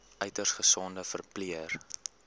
uiters gesogde verpleër